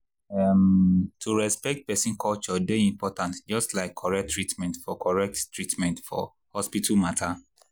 um to respect person culture dey important just like correct treatment for correct treatment for hospital matter.